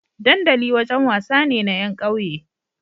dandali wajan wasa ne na yan ƙauye